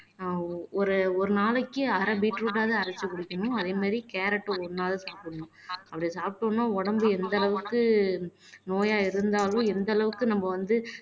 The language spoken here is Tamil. ஆஹ் ஒரு ஒரு நாளைக்கு அரை பீட்ரூட் ஆவது அரைச்சு குடிக்கணும் அதே மாதிரி கேரட் ஒரு நாள் சாப்பிடணும் அப்படி சாப்பிட்ட உடனே உடம்பு எந்த அளவுக்கு நோயா இருந்தாலும் எந்த அளவுக்கு நம்ம வந்து